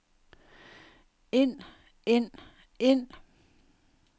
ind ind ind